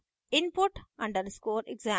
input _ exam